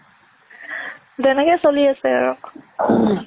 তেনেকে চলি আছে আৰু